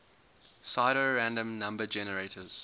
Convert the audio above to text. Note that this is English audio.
pseudorandom number generators